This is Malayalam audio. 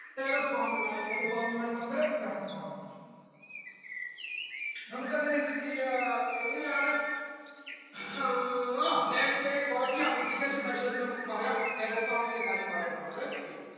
terrace farming ആണ് ഏത് farming ആണ് മക്കളെ ആഹ് landslide കുറയ്ക്കാം mitigation measures നമുക്ക് പറയാം terrace farming ഇന്റെ കാര്യം പറയണ്ട മക്കൾ